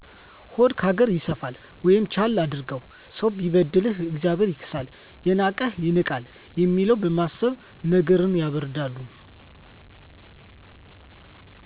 ሆድ ካገር ይሰፋል ወይም ቻል አድርገው፣ ሰው ቢበድል እግዚአብሔር ይክሳል፣ የናቀህ ይናቃል የሚለውን በማሰብ ነገርን ያበረዳሉ።